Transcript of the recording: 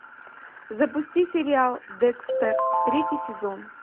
запусти сериал декстер третий сезон